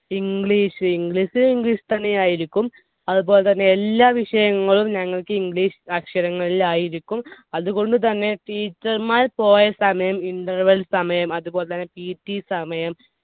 English. English English ൽ തന്നെയായിരിക്കും. അതുപോലെതന്നെ എല്ലാ വിഷയങ്ങളും ഞങ്ങൾക്ക് English അക്ഷരങ്ങളിലായിരിക്കും. അതുകൊണ്ടുതന്നെ teacher മാർ പോയ സമയം interval സമയം, അതുപോലെതന്നെ PT സമയം